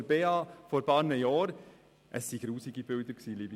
Es waren hässliche Bilder.